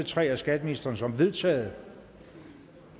tre af skatteministeren som vedtaget